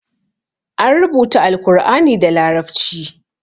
An rubuta Alkur'ani da larabci.